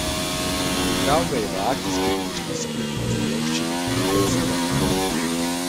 Igral ga je v akcijski domišljijski pustolovščini Vitez teme.